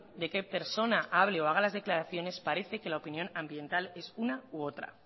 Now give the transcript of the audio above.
de qué persona hable o haga las declaraciones parece que la opinión ambiental es una u otra